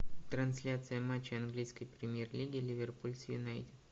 трансляция матча английской премьер лиги ливерпуль с юнайтед